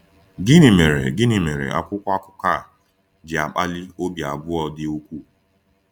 Gịnị mere Gịnị mere akwụkwọ akụkọ a ji akpali obi abụọ dị ukwuu?